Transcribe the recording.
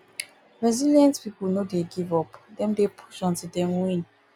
resilient pipo no dey give up dem dey push until dem win